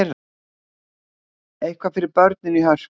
Eitthvað fyrir börnin í Hörpu